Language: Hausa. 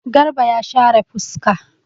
Garba ya share fuska.